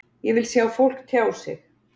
Ég vil sjá fólk tjá sig.